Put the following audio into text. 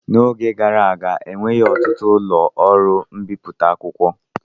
N'oge gara aga enweghị ọtụtụ ụlọ ọrụ mbipụta akwụkwọ.